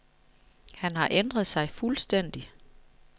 Han har ændret sig fuldstændig.